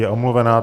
Je omluvena.